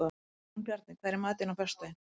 Jónbjarni, hvað er í matinn á föstudaginn?